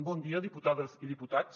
bon dia diputades i diputats